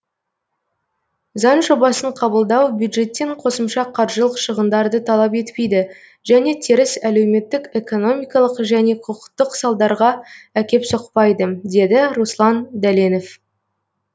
заң жобасын қабылдау бюджеттен қосымша қаржылық шығындарды талап етпейді және теріс әлеуметтік экономикалық және құқықтық салдарға әкеп соқпайды деді руслан дәленов